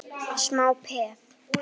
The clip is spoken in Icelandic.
Þetta var smá peð!